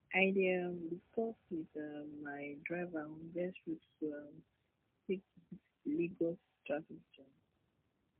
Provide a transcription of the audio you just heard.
i dey um discuss with um my driver on best route to um take to beat lagos traffic jam